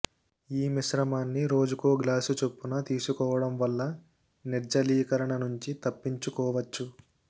ఈ మిశ్రమాన్ని రోజుకో గ్లాసు చొప్పున తీసుకోవడం వల్ల నిర్జలీకరణ నుంచి తప్పించుకోవచ్చు